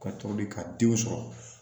Ka toli ka den sɔrɔ